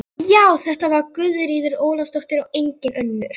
Já, þetta var Guðríður Ólafsdóttir og engin önnur!